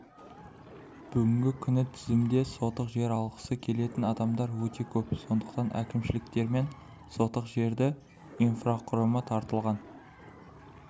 бүгінгі күні тізімде сотық жер алғысы келетін адамдар өте көп сондықтан әкімшіліктермен сотық жерді инфрақұрымы тартылған